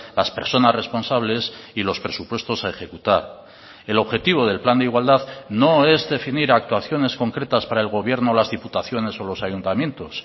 las personas responsables y los presupuestos a ejecutar el objetivo del plan de igualdad no es definir actuaciones concretas para el gobierno las diputaciones o los ayuntamientos